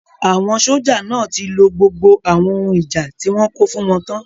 Àwọn sójà náà tí lo gbogbo àwọn ohun ìjà tí wọ́n kó fún wọn tán